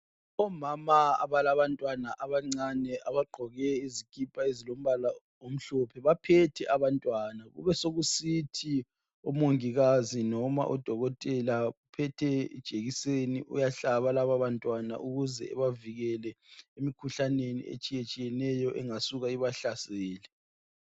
omama abalamantwana abancane abagqoke izikipa ezilombala omhlophe baphethe abantwana besokusithi omongikazi loba odokotela baphethe ijekiseni uyahlaba laba bantwana ukuze ebavikele emikhuhlaneni etshiyatshiyeneyo engasuka ibahlasele